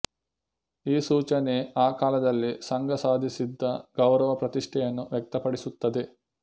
ಈ ಸೂಚನೆ ಆ ಕಾಲದಲ್ಲಿ ಸಂಘ ಸಾಧಿಸಿದ್ದ ಗೌರವ ಪ್ರತಿಷ್ಠೆಯನ್ನು ವ್ಯಕ್ತಪಡಿಸುತ್ತದೆ